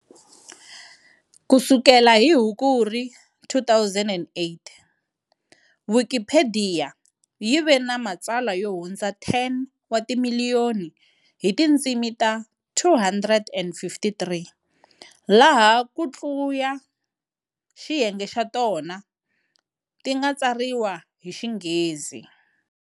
Kusukela hi Hukuri 2008, Wikipediya yi ve ni matsalwa yo hundza 10 wa ti miliyoni hi tindzimi ta 253, laha kutluya xiyenge xa tona tinga tsariwa hi xinghezi.